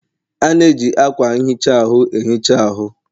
A na-eji akwa nhicha ahụ enhicha ahụ.